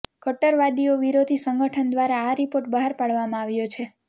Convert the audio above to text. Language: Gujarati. કટ્ટરવાદીઓ વિરોધી સંગઠન દ્વારા આ રિપોર્ટ બહાર પાડવામાં આવ્યો છે